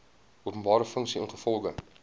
openbare funksie ingevolge